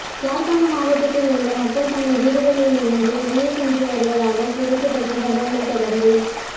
யாழ்ப்பாண மாவட்டத்தில் உள்ள மக்கள் தங்கள் வீடுகளிலிருந்து வெளியே சென்று வருவதாக கிடைக்கப்பெற்ற தகவலைத் தொடர்ந்தே